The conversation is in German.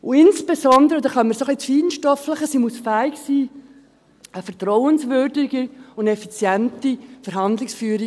Insbesondere, und damit kommen wir ein wenig ins Feinstoffliche, muss sie fähig sein zu einer vertrauenswürdigen und effizienten Verhandlungsführung.